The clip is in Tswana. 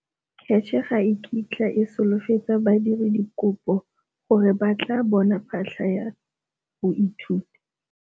CACH ga e kitla e solofetsa badiradikopo gore ba tla bona phatlha ya go ithuta.